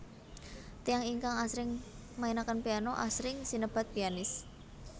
Tiyang ingkang asring mainaken piano asring sinebat pianis